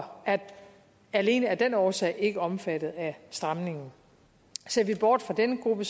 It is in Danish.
er alene af den årsag ikke omfattet af stramningerne ser vi bort fra denne gruppe